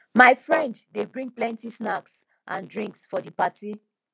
my friend dey bring plenty snacks and drinks for di party